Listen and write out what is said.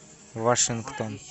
вашингтон